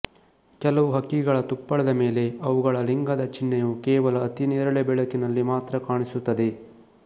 ಕೆಲವು ಹಕ್ಕಿಗಳ ತುಪ್ಪಳದ ಮೇಲೆ ಅವುಗಳ ಲಿಂಗದ ಚಿಹ್ನೆಯು ಕೇವಲ ಅತಿನೇರಳೆ ಬೆಳಕಿನಲ್ಲಿ ಮಾತ್ರ ಕಾಣಿಸುತ್ತದೆ